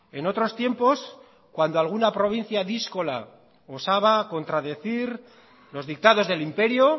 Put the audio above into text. en otros tiempos cuando alguna provincia díscola osaba a contradecir los dictados del imperio